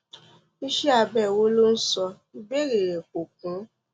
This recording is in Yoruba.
iṣẹ abẹ wo lo ń sọ ìbéèrè rẹ kò kún